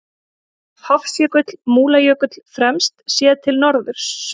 Hofsjökull, Múlajökull fremst, séð til norðurs.